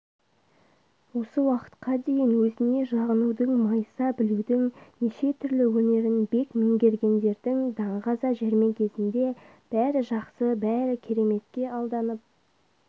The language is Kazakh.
осы уақытқа дейін өзіне жағынудың майыса білудің нешетүрлі өнерін бек меңгергендердің даңғаза жәрмеңкесінде бәрі жақсы бәрі кереметке алданып